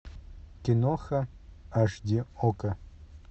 киноха аш ди окко